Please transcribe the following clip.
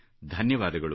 ಧನ್ಯವಾದಗಳು